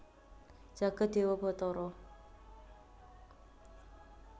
jagat dewa batara